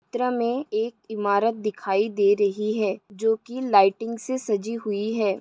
चित्र में एक इमारत दिखाई दे रही है जो को लाइटिंग से सजी हुई है।